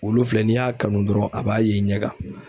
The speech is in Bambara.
Wulu filɛ n'i y'a kanu dɔrɔn a b'a ye i ɲɛ kan.